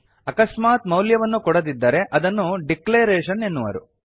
ಅಕಸ್ಮಾತ್ ಮೌಲ್ಯವನ್ನು ಕೊಡದಿದ್ದರೆ ಅದನ್ನು ಡಿಕ್ಲರೇಷನ್ ಎನ್ನುವರು